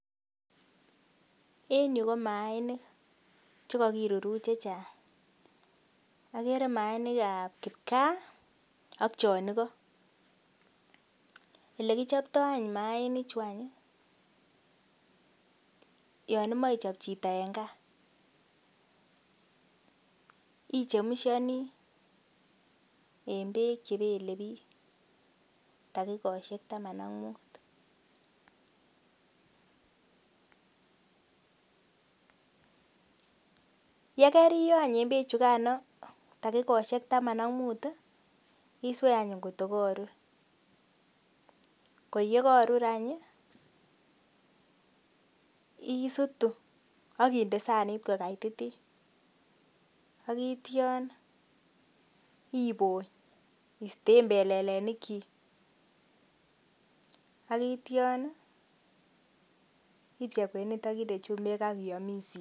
En Yu komainik chekakiruruch chechang Manik kab kipka AK chonigon olekichoptoi Manik chuton ko yanimae ichop Chito en gaa ichemshani en bek chebelebik dakikoshek Taman AK mut ayikariyo en bek chugandet dakikoshek Taman AK mut iswe kot ko kakorur ako yekaru any isitu AK sanit matkokaitititun akityon ibony akiste belelenik chik akityon ipchei kwenet ,inde chumbik Akiyam